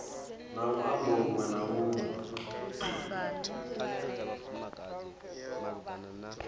na luambo lunwe na lunwe